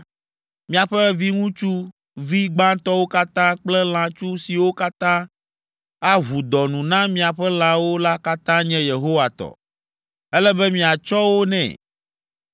miaƒe viŋutsuvi gbãtɔwo katã kple lãtsu siwo katã aʋu dɔ nu na miaƒe lãwo la katã nye Yehowa tɔ. Ele be miatsɔ wo nɛ.